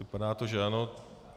Vypadá to, že ano.